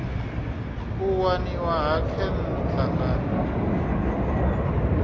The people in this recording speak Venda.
u waniwa ha khentsa nga